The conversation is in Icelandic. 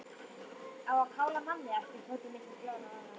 Á að kála manni æpti Tóti milli blárra vara.